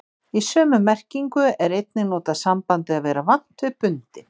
Í sömu merkingu er einnig notað sambandið að vera vant við bundinn.